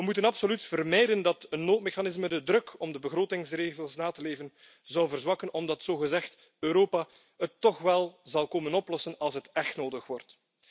We moeten absoluut vermijden dat een noodmechanisme de druk om de begrotingsregels na te leven, zou verzwakken omdat zogezegd Europa het toch wel zal komen oplossen als het echt nodig wordt.